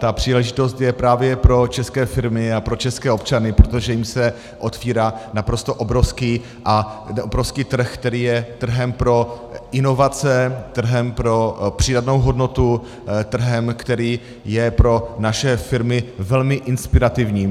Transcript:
Ta příležitost je právě pro české firmy a pro české občany, protože jim se otevírá naprosto obrovský trh, který je trhem pro inovace, trhem pro přidanou hodnotu, trhem, který je pro naše firmy velmi inspirativní.